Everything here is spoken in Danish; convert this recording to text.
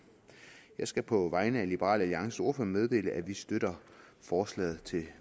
jeg skal på vegne af liberal alliances ordfører meddele at vi støtter forslaget til